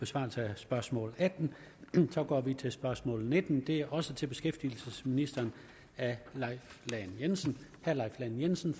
besvarelsen af spørgsmål attende så går vi til spørgsmål nittende det er også til beskæftigelsesministeren af leif lahn jensen lahn jensen